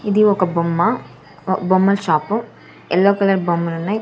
ఇది ఒక బొమ్మ ఒ బొమ్మల్ షాపు ఎల్లో కలర్ బొమ్మలున్నాయ్.